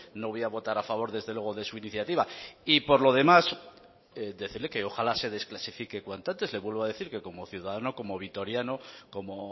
no voy a votar a favor desde luego de su iniciativa y por lo demás decirle que ojala se desclasifique cuanto antes le vuelvo a decir que como ciudadano como vitoriano como